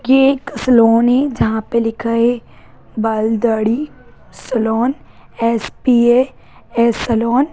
ये एक सैलून है जहां पे लिखा है बाल दाढ़ी सेलून एस.पी.ए. है सैलून।